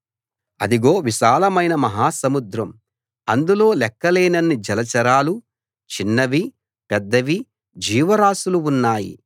అదిగో విశాలమైన మహాసముద్రం అందులో లెక్కలేనన్ని జలచరాలు చిన్నవి పెద్దవి జీవరాసులు ఉన్నాయి